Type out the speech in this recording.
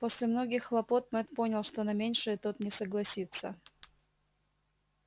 после многих хлопот мэтт понял что на меньшее тот не согласится